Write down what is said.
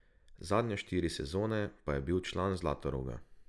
Zadnje štiri sezone pa je bil član Zlatoroga.